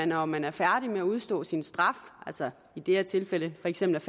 når man er færdig med at udstå sin straf altså i det her tilfælde for eksempel